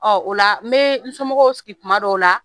Ɔ o la n bɛ n somɔgɔw sigi tuma dɔw la